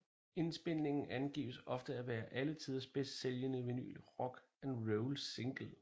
Indspilningen angives ofte at være alle tiders bedst sælgende vinyl rock and roll single